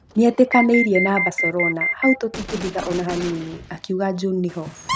Nĩetĩkanĩirie na Barcelona, hau tũtingĩhitha ona hanini’’ akiuga Juninho